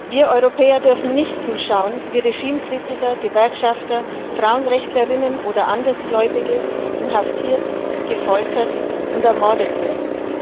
Wir Europäer dürfen nicht zusehen, wie Regimekritiker, Gewerkschafter, Frauenrechtlerinnen oder Andersgläubige inhaftiert, gefoltert und ermordet werden.